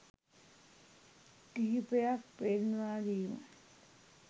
කිහිපයක් පෙන්වාදීම